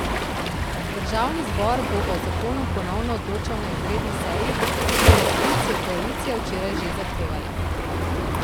Državni zbor bo o zakonu ponovno odločal na izredni seji, katere sklic je koalicija včeraj že zahtevala.